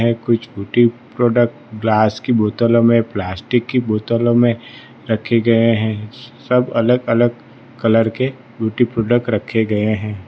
कुछ beauty product glass की बोतल में प्लास्टिक की बोतलों में रखे गए हैं सब अलग अलग कलर के ब्यूटी प्रोडक्ट रखे गए हैं।